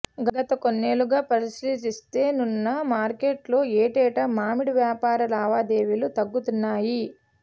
గత కొన్నేళ్లుగా పరిశీలిస్తే నున్న మార్కెట్లో ఏటేటా మామిడి వ్యాపార లావాదేవీలు తగ్గుతున్నాయి